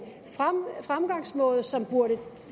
fremgangsmåde som burde